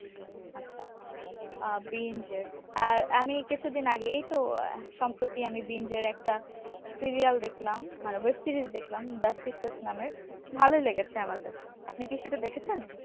আচ্ছা আচ্ছা আহ বিঞ্জ এর আর আমি এই কিছুদিন আগে এইতো আহ সম্প্রতি আমি বিঞ্জ এর একটা serial দেখলাম মানে web series দেখলাম the secret নামের ভালোই লেগেছে আমার কাছে আপনি কি সেটা দেখেছেন?